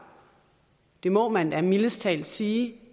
det må man da mildest talt sige